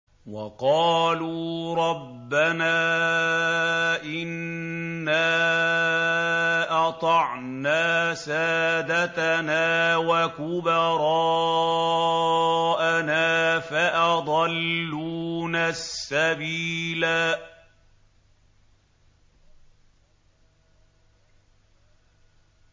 وَقَالُوا رَبَّنَا إِنَّا أَطَعْنَا سَادَتَنَا وَكُبَرَاءَنَا فَأَضَلُّونَا السَّبِيلَا